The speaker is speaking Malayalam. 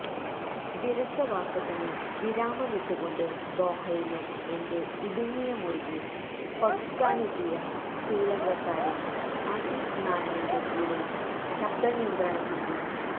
വിരസ വാസത്തിന് വിരാമമിട്ട് കൊണ്ട് ദോഹയിലെ എന്റെ ഇടുങ്ങിയ മുറിയെ പകുക്കാനെത്തിയ ശ്രീലങ്കകാരൻ അസീസ് നാനയുടെ കൂടെ ശബ്ദ നിയന്ത്രണത്തിന്റെ